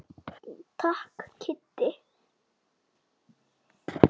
Takk Kiddi.